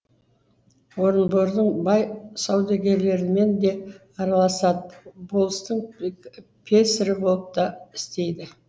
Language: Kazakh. орынбордың бай саудагерлерімен де араласады болыстың песірі болып та істейді